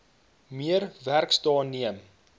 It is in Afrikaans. meer werksdae neem